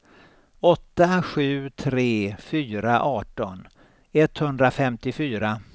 åtta sju tre fyra arton etthundrafemtiofyra